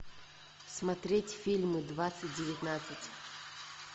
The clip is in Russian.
смотреть фильмы двадцать девятнадцать